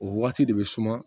O waati de bɛ suma